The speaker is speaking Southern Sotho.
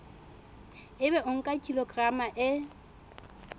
ebe o nka kilograma e